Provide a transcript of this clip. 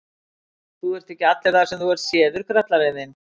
Þú ert ekki allur þar sem þú ert séður, grallarinn þinn!